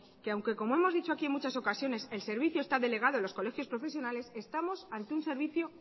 que aunque como hemos dicho aquí en muchas ocasiones el servicio está delegado en los colegios profesionales estamos ante un servicio